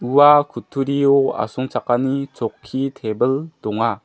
ua kutturio asongchakani chokki tebil donga.